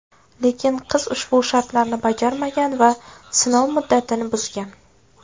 Lekin qiz ushbu shartlarni bajarmagan va sinov muddatini buzgan.